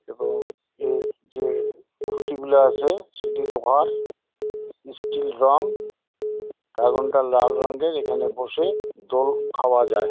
এবং এর যে খুঁটি গুলা আছে সেটি লোহার। স্টিল রং ড্রাগন টা লাল রঙের। এখানে বসে দোল খাওয়া যায়।